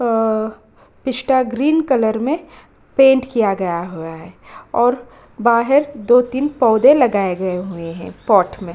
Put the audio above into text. अ पिस्टा green colour में पेंट किया गया हुआ है और बाहिर दो-तीन पौधे लगाए गए हुए हैं पॉट में --